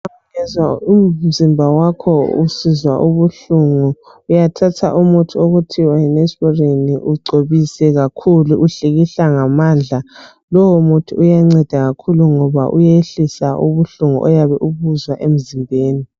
Ungezwa umzimba wakho usizwa ubuhlungu, uyathatha umuthi okuthiwa yiNeosporin ugcobise kakhulu uhlikihla ngamandla lowo muthi yanceda kakhulu ngoba uyehlisa ubuhlungu emzimbeni.